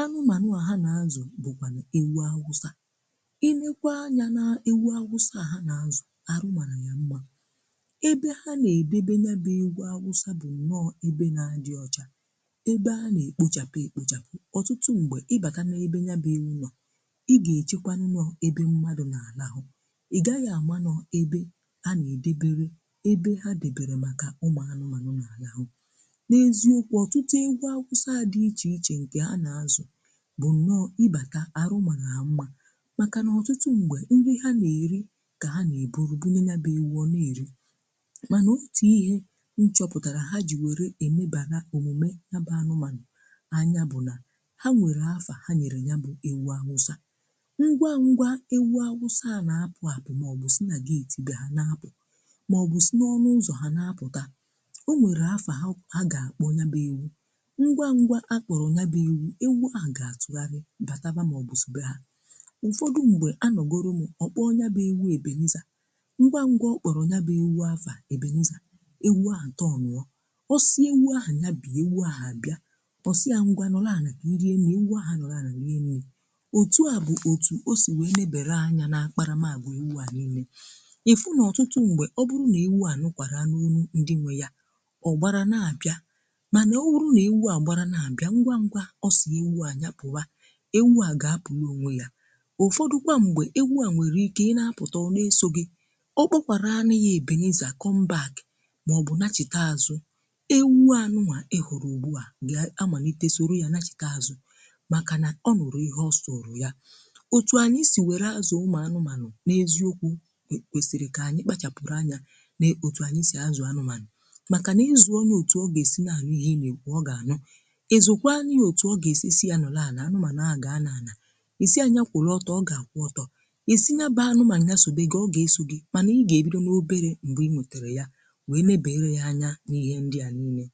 a, um anụ̀manụ̀ à ha na-àzụ̀ bụ̀kwanụ̀ ewu awụsà.Ị lèkwà anya n’ewu awụsà ha na-àzụ̀, arụ̀manụ̀ yà mmà. Igwe awụsà bụ̀ nnọọ̀ ebe na-àdị̀ ọ̀chà, ebe a na-ekpochàpụ̀ ekpochàpụ̀. Ụtụtụ̀ mgbè,... ị bākà na ebe yà bụ̀ elu nọ̀, ị gà- echekwà... n’ọ̀ọ̀ ebe mmadụ̀ na-álà ahụ̀. Ị gà-aghi ama nọ ebe a na-edèbè ebe ha dịbèré. Màkà ụmụ̀ anụ̀manụ̀ na-álà ahụ̀, n’èziokwu, ọtụtụ̀ ịgwọ̀ awụsà dị iche iche nke a na-àzụ̀ bụ̀ nnọọ̀. Ị bāta, arụ̀ mà na àmà, màkà nà ọtụtụ̀ mgbè, ndị ha na-èrì ka ha na-ebùru bùnye, yà bụ̀ ewu. Ọ na-èrì. Mana òtù ihe nchọ̀pụ̀tàrà ha jì wèrè èmebàlà, òmùme yà bà n’ụ̀mànụ̀ anya bụ̀ nà ha nwèrè àfà. Ha nyèrè yà bụ̀ ewu ahụ̀ ụ̀sọ̀. Ngwa ngwa,... ewu ahụ̀ sò yà n’àpụ̀ ahụ̀, maọ̀bụ̀ sị̀ nà gate bịà, ha n’àpụ̀, maọ̀bụ̀ sị̀ n’ọnụ̀ ụzọ̀, ha n’àpụ̀tà. O nwèrè àfà ha gà-akpọ̀ onye bịà ewu̇. Ngwa ngwa, akpọ̀rọ̀ onye bịà ewu̇. Ewu ahụ̀ gà-àtụ̀gharịa bàtàbà, maọ̀bụ̀ sòbè hà. Ụ̀fọdụ̀ mgbè, anọ̀gorò m, ọ̀kpọ̀ọ̀ onye bịà ewu Ebèliza. Ngwa ngwa ngwa, ọkpọ̀rọ̀ onye bịà ewu̇, àfà Ebèliza. Ọ̀sị̀e ewu um ahụ̀ anya bụ̀, ewu ahụ̀ bịà, ọ̀ sị̀ ya ngwa n’ọ̀làà nà irìe. Nà ewu ahụ̀ um n’ọ̀làà nà n’ịnịnè, òtù à bụ̀ òtù o sì wee mèbèré anya nà-akparamàgwù. Ewu ahụ̀ n’ịnịnè, ị fụ̀ n’ọ̀tụtụ̀ mgbè ọ̀ bụrụ̀ nà ewu à nụ́kwara n’ọnụ̀ ndị nwe yà, ọ̀ gbàrà nà-abịa. Mànà ọ̀ bụrụ̀ nà ewu à gbàrà nà-abịa ngwa ngwa, ọ̀sị̀e ewu à nà-ya pụ̀wa, ewu à gà-apụ̀rụ̀ onwe yà. Ụ̀fọdụ̀kwa mgbè, ewu à nwèrè ike ị nà-apụ̀tà, ọ n’èsò gị. Ọ gbàkwàrà à n’ihi Ebènizà um kọ̀nbàch ewu à. Anụ̀mà ị hụrụ̀ ùgbù à gà-àmalite soro.. yà na-chìtà azụ̀, màkà nà ọnụ̀rụ̀ ihe, ọsọ̀ ụrụ̀ yà. Òtù ànyị sì wèrè azụ̀ ụmụ̀ anụ̀manụ̀ n’èziokwu̇ kwèsìrì kà ànyị kpachàpụ̀rụ̀ anya òtù ànyị sì àzụ̀ anụ̀manụ̀. Màkà nà izù ọnì òtù ọ gà-èsì nà ànụ̀ ihe, ị lèkọ̀, ọ̀ gà-ànụ̀. Ịzụ̀kwa anyị, òtù ọ gà-èsì yà nọ̀ làànà. Anụ̀manụ̀ a gà-àna ànà isi ànyị àkụ̀rụ̀ ọ̀tọ̀, ọ̀ gà-àkụ̀ ọ̀tọ̀ isi nàbà. Anụ̀manụ̀ um àsògbè ị gà, ọ̀ gà-èsì gị. Mànà ị gà-èbido n’obere mgbè ị nwètèrè yà n’ihe ndị a nni mèé.